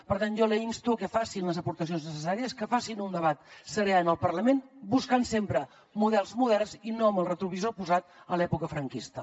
per tant jo la insto que facin les aportacions necessàries que facin un debat serè en el parlament buscant sempre models moderns i no amb el retrovisor posat en l’època franquista